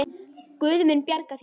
Guð mun bjarga þér.